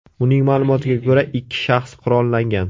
Uning ma’lumotiga ko‘ra, ikki shaxs qurollangan.